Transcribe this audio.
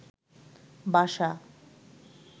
বাসা